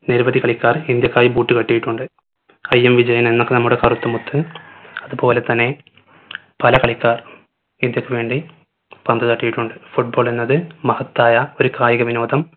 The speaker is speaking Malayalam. നിരവധി കളിക്കാർ ഇന്ത്യക്കായി boot കെട്ടിയിട്ടുണ്ട് IM വിജയനെന്ന നമ്മുടെ കറുത്ത മുത്ത് അത്പോലെ തന്നെ പല കളിക്കാർ ഇന്ത്യക്കു വേണ്ടി പന്ത് തട്ടിയിട്ടുണ്ട് football എന്നത് മഹത്തായ ഒരു കായിക വിനോദം